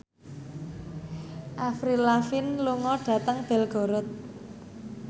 Avril Lavigne lunga dhateng Belgorod